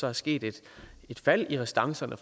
er sket et fald i restancerne